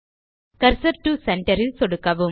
cursor டோ center ல் சொடுக்கவும்